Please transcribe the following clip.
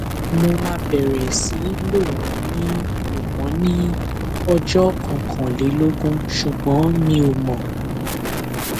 mo máa bẹrẹ sí lò wọn ní lò wọn ní ọjọ kọkànlélógún ṣùgbọn mi ò mọ